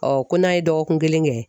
ko n'an ye dɔgɔkun kelen kɛ